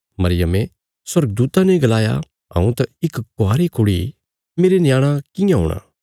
मरियमे स्वर्गदूता ने गलाया हऊँ त इक कवारी कुड़ी मेरे न्याणा कियां हूणा